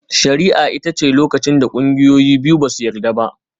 Shari'a ita ce lokacin da ƙungiyoyi biyu ba su yarda ba.